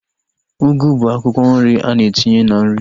Ugu bụ akwụkwọ nri a na-etinye na nri